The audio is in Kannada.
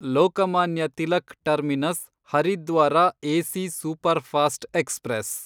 Lokmanya Tilak terminus Haridwar AC superfast express